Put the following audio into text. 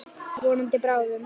Vonandi bráðum.